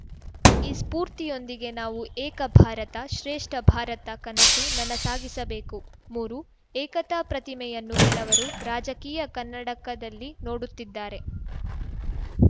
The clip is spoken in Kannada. ಈ ಸ್ಫೂರ್ತಿಯೊಂದಿಗೆ ನಾವು ಏಕ ಭಾರತ ಶ್ರೇಷ್ಠ ಭಾರತ ಕನಸು ನನಸಾಗಿಸಬೇಕು ಮೂರು ಏಕತಾ ಪ್ರತಿಮೆಯನ್ನು ಕೆಲವರು ರಾಜಕೀಯ ಕನ್ನಡಕದಲ್ಲಿ ನೋಡುತ್ತಿದ್ದಾರೆ